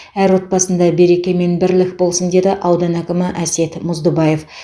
әр отбасында береке мен бірлік болсын деді аудан әкімі әсет мұздыбаев